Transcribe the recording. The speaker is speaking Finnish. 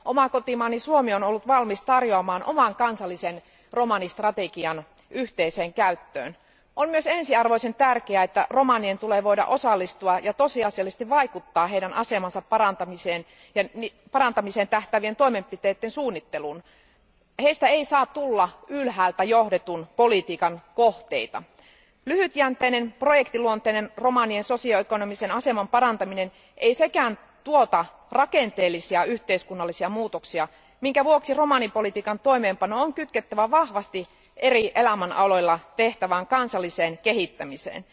Oma kotimaani Suomi on ollut valmis tarjoamaan oman kansallisen romanistrategiansa yhteiseen käyttöön. On myös ensiarvoisen tärkeää, että romanien tulee voida osallistua ja tosiasiallisesti vaikuttaa heidän asemansa parantamiseen tähtäävien toimenpiteiden suunnitteluun. Heistä ei saa tulla ylhäältä johdetun politiikan kohteita. Lyhytjänteinen, projektiluonteinen romanien sosio ekonomisen aseman parantaminen ei sekään tuota rakenteellisia yhteiskunnallisia muutoksia, minkä vuoksi romanipolitiikan toimeenpano on kytkettävä vahvasti eri elämänaloilla tehtävään kansalliseen kehittämiseen.